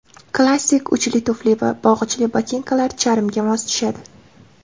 Klassik uchli tufli va bog‘ichli botinkalar charmga mos tushadi.